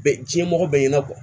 Bɛɛ diɲɛmɔgɔ bɛɛ ɲɛna